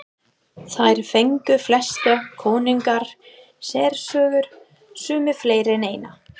Þar fengu flestir konungar sérsögur, sumir fleiri en eina.